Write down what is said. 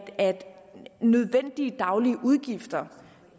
nødvendige daglige udgifter